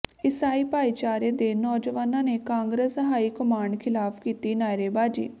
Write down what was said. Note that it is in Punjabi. ਈਸਾਈ ਭਾਈਚਾਰੇ ਦੇ ਨੌਜਵਾਨਾਂ ਨੇ ਕਾਂਗਰਸ ਹਾਈ ਕਮਾਂਡ ਿਖ਼ਲਾਫ਼ ਕੀਤੀ ਨਾਅਰੇਬਾਜ਼ੀ